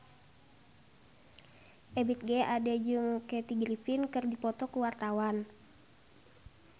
Ebith G. Ade jeung Kathy Griffin keur dipoto ku wartawan